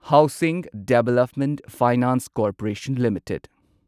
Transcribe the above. housing development finance corporation limited